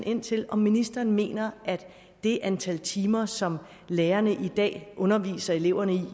ind til om ministeren mener at det antal timer som lærerne i dag underviser eleverne i